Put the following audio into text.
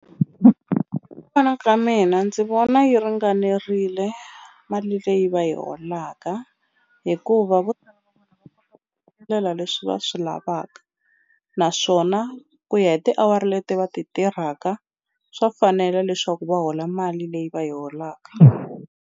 Vona ka mina ndzi vona yi ringanerile mali leyi va yi holaka hikuva ndlela leswi va swi lavaka naswona ku ya hi tiawara leti va ti tirhaka swa fanela leswaku va hola mali leyi va yi holaka.